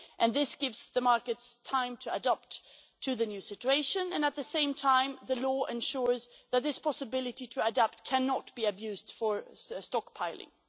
This gives the markets time to adapt to the new situation, and at the same time the law ensures that this possibility to adapt cannot be abused for stockpiling.